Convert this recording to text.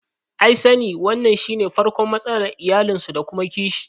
I sani wannan shine farkon matsalar iyalinsu da kuma kishi